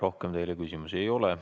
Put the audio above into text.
Rohkem teile küsimusi ei ole.